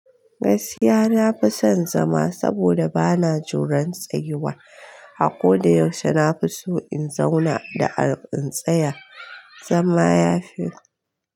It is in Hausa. Gaskiya na fi son zama saboda bana juran tsayuwa. A ko da yaushe na fi so in zauna da'ar in tsaya. Zama ya fi.